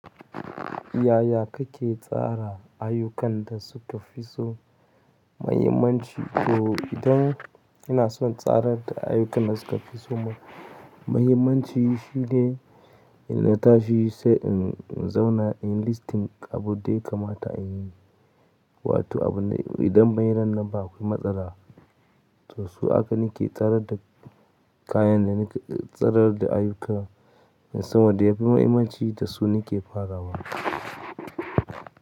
Yaya kake tsara ayyukan da suka fi so mahimmanci? To idan ina son tsarar da ayyukan da suka fi so mahimmanci, shi ne ina tashi sai in zauna in listing abun da ya kamata in yi, wato abun da idan ban yi ran nan ba akwai matsala. To su haka nake tsarar da kayan da nake tsarar da ayyukana, sama da yafi mahimmanci da su nake farawa.